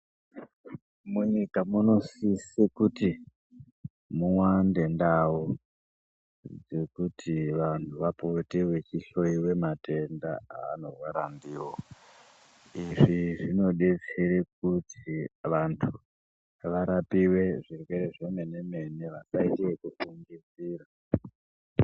Munyika munosise kuti muwande ndau dzekuti vantu vapote veyihloyiwe matenda avanorwara ndiwo. Izvi zvinodetsera kuti vantu varapiwe zvirwere zvemene-mene, vasayite zvekufungidzira.